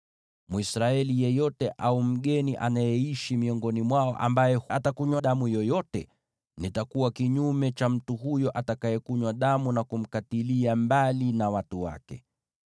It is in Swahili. “ ‘Mwisraeli yeyote au mgeni anayeishi miongoni mwao ambaye atakunywa damu yoyote, nitakuwa kinyume cha mtu huyo atakayekunywa damu na kumkatilia mbali na watu wake.